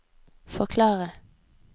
forklare